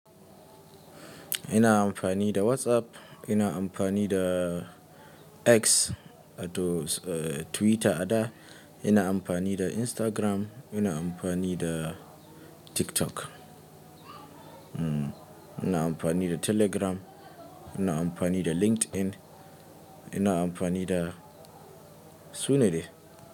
Ina amfani da WhatsApp, ina amfani da X, ados Twitter a da, ina amfani da Instagram, ina amfani da TikTok, hmm, ina amfani da Telegram, ina amfani da LinkedIn, ina amfani da sune dai.